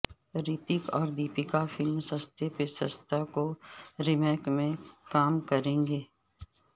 ریتک اور دیپکا فلم ستے پہ ستہ کی ریمیک میں کام کریں گے